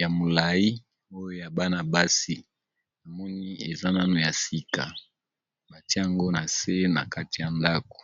ya molayi oyo ya bana basi na moni eza nanu ya sika ba tia yango na se na kati ya ndaku .